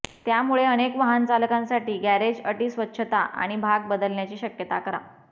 त्यामुळे अनेक वाहनचालकांसाठी गॅरेज अटी स्वच्छता आणि भाग बदलण्याची शक्यता करा